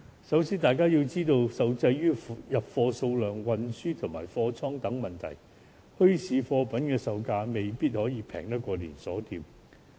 首先，大家要知道，礙於入貨數量、運輸及貨倉等問題，墟市貨品的售價未必可以較連鎖店便宜。